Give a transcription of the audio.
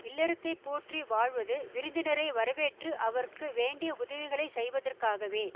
இல்லறத்தைப் போற்றி வாழ்வது விருந்தினரை வரவேற்று அவர்க்கு வேண்டிய உதவிகளை செய்வதற்காகவே